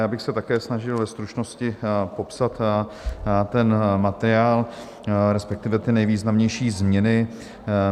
Já bych se také snažil ve stručnosti popsat ten materiál, respektive ty nejvýznamnější změny.